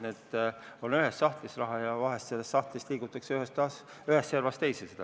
See raha on ühes sahtlis ja seda raha liigutatakse ühest servast teise.